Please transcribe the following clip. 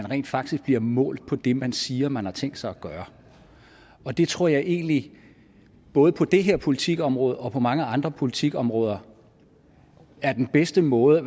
rent faktisk bliver målt på det man siger at man har tænkt sig at gøre og det tror jeg egentlig både på det her politikområde og på mange andre politikområder er den bedste måde